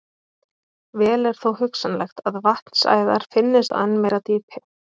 Vel er þó hugsanlegt að vatnsæðar finnist á enn meira dýpi.